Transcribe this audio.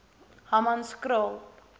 hammanskraal